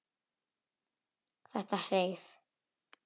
Þetta hreif.